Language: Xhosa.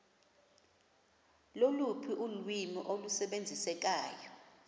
loluphi ulwimi olusebenziseka